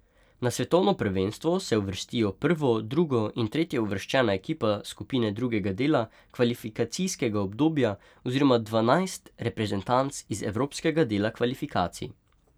Na svetovno prvenstvo se uvrstijo prvo, drugo in tretjeuvrščena ekipa skupine drugega dela kvalifikacijskega obdobja oziroma dvanajst reprezentanc iz evropskega dela kvalifikacij.